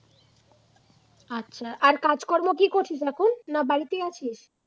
আর কাজকর্ম কি করছিস এখন না বাড়িতেই আছিস?